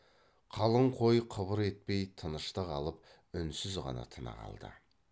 қалың қой қыбыр етпей тыныштық алып үнсіз ғана тына қалды